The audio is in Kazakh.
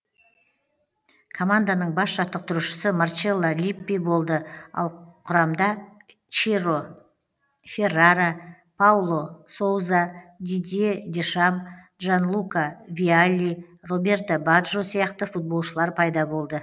команданың бас жаттықтырушысы марчелло липпи болды ал құрамда чиро феррара пауло соуза дидье дешам джанлука виалли роберто баджо сияқты футболшылар пайда болды